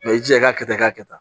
i jija i ka kɛ i k'a kɛ tan